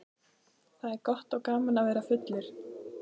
Það er gott og gaman að vera fullur.